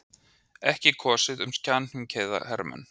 Ekki kosið um samkynhneigða hermenn